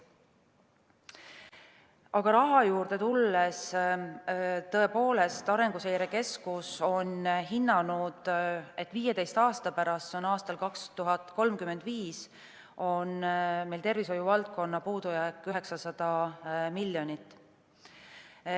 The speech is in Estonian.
Aga raha juurde tulles, tõepoolest, Arenguseire Keskus on hinnanud, et 15 aasta pärast, see on aastal 2035, on meil tervishoiuvaldkonna puudujääk 900 miljonit.